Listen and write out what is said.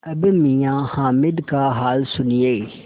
अब मियाँ हामिद का हाल सुनिए